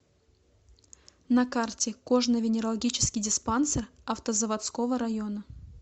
на карте кожно венерологический диспансер автозаводского района